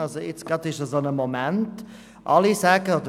Jetzt ist dies gerade der Fall.